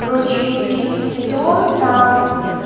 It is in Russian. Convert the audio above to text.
короче принц тритон там